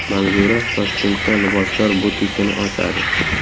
Manzura Toshkentda liboslar butikini ochadi.